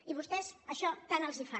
i a vostès això tant els fa